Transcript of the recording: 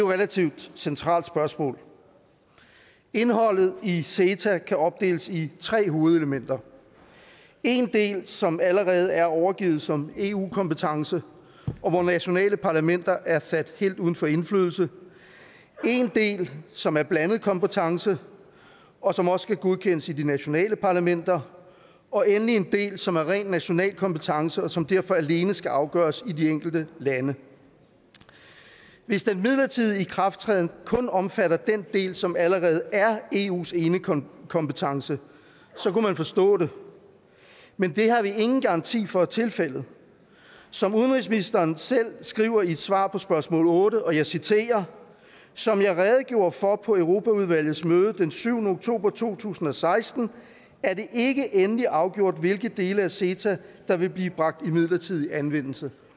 relativt centralt spørgsmål indholdet i ceta kan opdeles i tre hovedelementer en del som allerede er overgivet som eu kompetence og hvor nationale parlamenter er sat helt uden for indflydelse en del som er blandet kompetence og som også skal godkendes i de nationale parlamenter og endelig en del som er rent national kompetence og som derfor alene skal afgøres i de enkelte lande hvis den midlertidige ikrafttræden kun omfatter den del som allerede er eus enekompetence så kunne man forstå det men det har vi ingen garanti for er tilfældet som udenrigsministeren selv skriver i et svar på spørgsmål otte og jeg citerer som jeg redegjorde for på europaudvalgets møde den syvende oktober to tusind og seksten er det ikke endeligt afgjort hvilke dele af ceta der vil blive bragt i midlertidig anvendelse